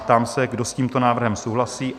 Ptám se, kdo s tímto návrhem souhlasí?